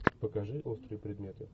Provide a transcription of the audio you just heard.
покажи острые предметы